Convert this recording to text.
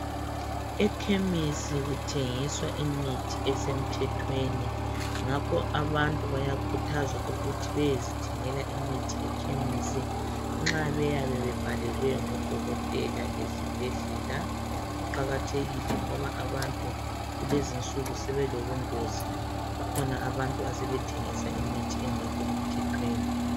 Ekhemisi kuthengiswa imithi esemthethweni Ngakho abantu bayakhuthazwa ukuthi beyezithengela imithi ekhemisi nxa beyabe bebhalelwe ngudokotela esibhedlela Kuqakathekile ngoba abantu kulezinsuku sebelobungozi .Kukhona abantu asebethengisa imithi engekho emthethweni